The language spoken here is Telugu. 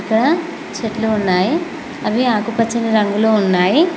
ఇక్కడ చెట్లు ఉన్నాయి అవి ఆకుపచ్చని రంగు లో ఉన్నాయి.